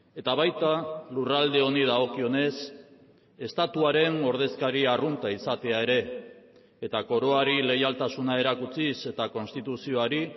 eta baita lurralde honi dagokionez estatuaren ordezkari arrunta izatea ere eta koroari leialtasuna erakutsiz eta konstituzioari